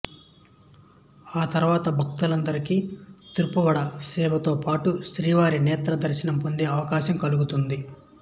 ఆ తర్వాత భక్తులందరికి తిరుప్పావడ సేవతో పాటు శ్రీవారి నేత్ర దర్శనం పొందే అవకాశం కల్గుతుంది